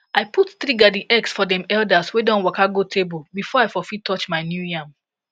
i put three garden eggs for dem elders wey don waka go table before i for fit touch my new yam